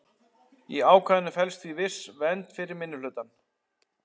Í ákvæðinu felst því viss vernd fyrir minnihlutann.